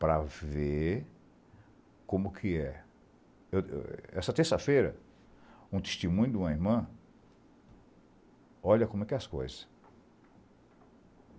para ver como que é. Essa terça-feira, um testemunho de uma irmã, olha como é que é as coisas...